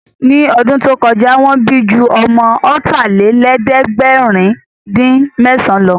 Ní ọdún tó kọjá, Wọ́n bí ju ọmọ ọ̀tàlélẹ̀ẹ̀dẹ́gbèrin-dín-mẹ́san lọ